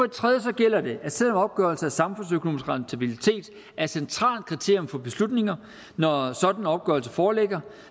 tredje gælder det at selv om opgørelse af samfundsøkonomisk rentabilitet er et centralt kriterium for beslutninger når en sådan opgørelse foreligger